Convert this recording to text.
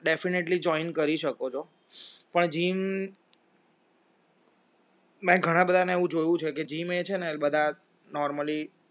definately join કરી શકો છો પણ gym ઘણા બધાને એવું જોયું છે કે gym એ છે ને બધા normally